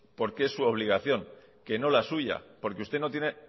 porque es su obligación que no la suya porque usted no tiene